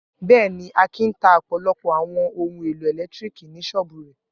Bẹ́ẹ̀ ni, Akin ta ọ̀pọ̀lọpọ̀ àwọn ohun-èlò ẹ̀lẹ́tíríkì ní ṣọ́ọ́bù rẹ̀.